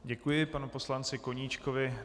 Děkuji panu poslanci Koníčkovi.